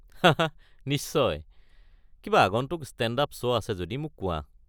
হা হা নিশ্চয়! কিবা আগন্তুক ষ্টে'ণ্ড-আপ শ্ব' আছে যদি মোক কোৱা।